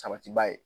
Sabatiba ye